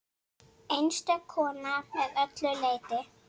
Einstök kona að öllu leyti.